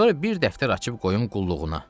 Sonra bir dəftər açıb qoyum qulluğuna.